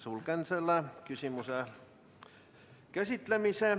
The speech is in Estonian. Lõpetan selle küsimuse käsitlemise.